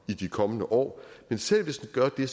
i de kommende år men selv hvis den gør det